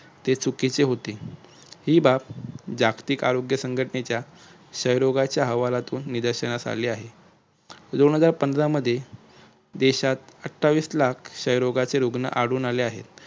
ते चुकीचे होते हि बाब जागतिक आरोग्य संघटनेच्या क्षय रोगाच्या अहवालातून निदर्शनास आले आहे. दोन हजार पंधरा मध्ये देशात अठ्ठावीस लाख क्षय रोगाचे रुग्ण आढळून आले आहेत.